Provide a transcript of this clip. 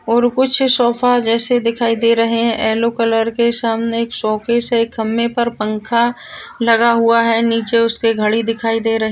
और कुछ सोफे जैसे दिखाई दे रहे है येल्लो कलर के सामने एक शोकेस है एक खम्बे पर पंखा लगा हुआ है नीचे उसके घडी दिखाई दे रही --